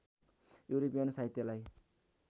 European साहित्यलाई